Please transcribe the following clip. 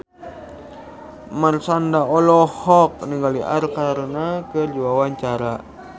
Marshanda olohok ningali Arkarna keur diwawancara